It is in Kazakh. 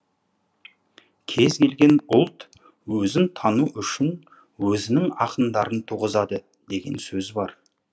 кез келген ұлт өзін тану үшін өзінің ақындарын туғызады деген сөз бар